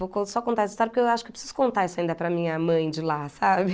Vou co só contar essa história porque eu acho que preciso contar isso ainda para a minha mãe de lá, sabe?